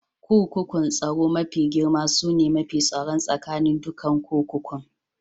Kurkukun tsaro mafi girma sune mafi tsaron tsakanin dukan kurkukun.